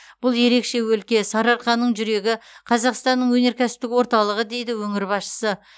бұл ерекше өлке сарыарқаның жүрегі қазақстанның өнеркәсіптік орталығы дейді өңір басшысы